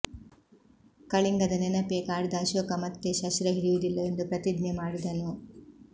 ಕಳಿಂಗದ ನೆನಪೇ ಕಾಡಿದ ಅಶೋಕ ಮತ್ತೇ ಶಸ್ತ್ರ ಹಿಡಿಯುವುದಿಲ್ಲವೆಂದು ಪ್ರತಿಜ್ಞೆ ಮಾಡಿದನು